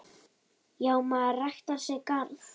Já, maður ræktar sinn garð.